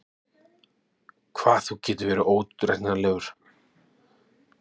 Hvað þú getur verið óútreiknanlegur!